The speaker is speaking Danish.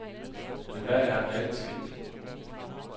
Men hvad er reelt sket.